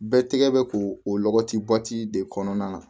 Bɛɛ tigɛ bɛ ko o lɔgɔti bɔti de kɔnɔna na